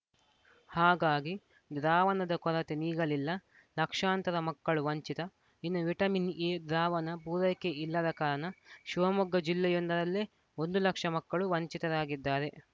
ಹಾಗಾಗಿ ದ್ರಾವಣದ ಕೊರತೆ ನೀಗಲಿಲ್ಲ ಲಕ್ಷಾಂತರ ಮಕ್ಕಳು ವಂಚಿತ ಇನ್ನು ವಿಟಮಿನ್‌ ಎ ದ್ರಾವಣ ಪೂರೈಕೆ ಇಲ್ಲದ ಕಾರಣ ಶಿವಮೊಗ್ಗ ಜಿಲ್ಲೆಯೊಂದರಲ್ಲೇ ಒಂದು ಲಕ್ಷ ಮಕ್ಕಳು ವಂಚಿತರಾಗಿದ್ದಾರೆ